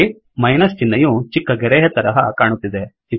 ನೋಡಿ ಮೈನಸ್ ಚಿಹ್ನೆಯು ಚಿಕ್ಕ ಗೆರೆಯ ತರಹ ಕಾಣುತ್ತಿದೆ